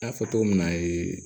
N y'a fɔ cogo min na